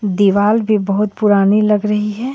दीवाल भी बहोत पुरानी लग रही है.